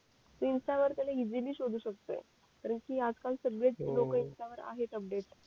Insta वर त्याला easily शोधू शकतोय कारण कि आज काल सगळेच लोक इन्स्टा वर आहे अपडेट